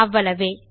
அவ்வளவே